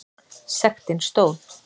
Sektin stóð.